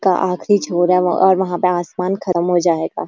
का आखिरी छोर है और वहाँ पर आसमान खद्म हो जाएगा।